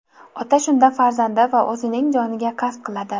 Ota shunda farzandi va o‘zining joniga qasd qiladi.